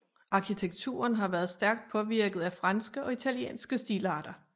Arkitekturen har været stærkt påvirket af franske og italienske stilarter